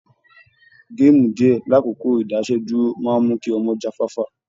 Gaamu díè lákókò ìdásẹ́dúró máa mú kí ọmọ jáfáfá.